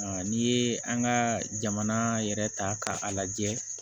N'i ye an ka jamana yɛrɛ ta k'a lajɛ